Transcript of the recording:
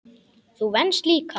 Þú venst líka.